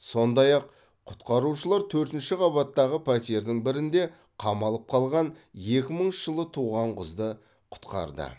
сондай ақ құтқарушылар төртінші қабаттағы пәтердің бірінде қамалып қалған екі мыңыншы жылы туған қызды құтқарды